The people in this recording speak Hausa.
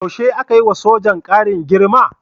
Yaushe aka yi wa sojan ƙarin girma?